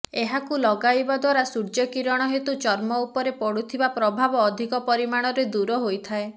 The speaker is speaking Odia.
ଏହାକୁ ଲଗାଇବା ଦ୍ୱାରା ସୂର୍ଯ୍ୟ କିରଣ ହେତୁ ଚର୍ମ ଉପରେ ପଡ଼ୁଥିବା ପ୍ରଭାବ ଅଧିକ ପରିମାଣରେ ଦୂର ହୋଇଥାଏ